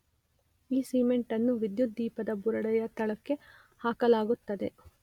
ಈ ಸಿಮೆಂಟನ್ನು ವಿದ್ಯುದ್ದೀಪದ ಬುರುಡೆಯ ತಳಕ್ಕೆ ಹಾಕಲಾಗುತ್ತದೆ